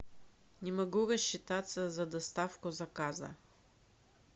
не могу рассчитаться за доставку заказа